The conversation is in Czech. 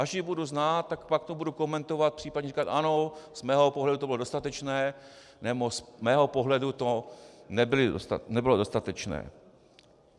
Až ji budu znát, tak pak to budu komentovat, případně říkat ano, z mého pohledu to bylo dostatečné, nebo z mého pohledu to nebylo dostatečné.